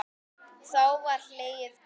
Þá var hlegið dátt.